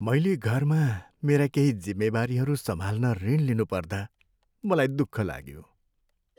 मैले घरमा मेरा केही जिम्मेवारीहरू सम्हाल्न ऋण लिनुपर्दा मलाई दुःख लाग्यो।